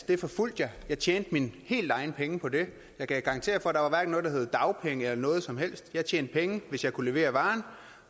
det forfulgte jeg jeg tjente mine helt egne penge på det jeg kan garantere for at der hverken var noget der hed dagpenge eller noget som helst jeg tjente penge hvis jeg kunne levere varen